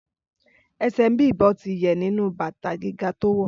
Ẹsẹ̀ Bím̀bọ́ ti yẹ̀ nínú bàtà gíga tó wọ̀